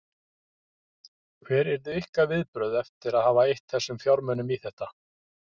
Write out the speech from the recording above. Hver yrðu ykkar viðbrögð eftir að hafa eytt þessum fjármunum í þetta?